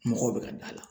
Mɔgɔw bɛ ka da la